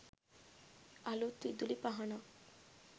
අලුත් විදුලි පහනක්